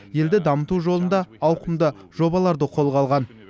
елді дамыту жолында ауқымды жобаларды қолға алған